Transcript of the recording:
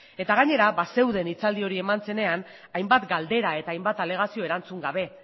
eta gainera bazeuden hitzaldi hori eman zenean hainbat galdera eta hainbat alegazio erantzun gabe